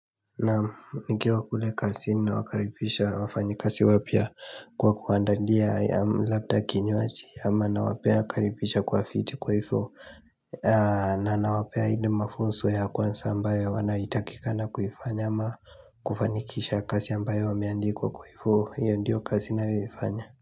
Naam nikiwa kule kazini na wakaribisha wafanyi kazi wapya kwa kuwaandalia labda kinywaji ama na pia nawakaribisha kwa viti kwa hivyo na nawapea ile mafunzo ya kwanza ambayo wanayotakikana kufanya ama kufanikisha kazi ambayo wameandikwa kwa hivyo hiyo ndiyo kazi ninayoifanya.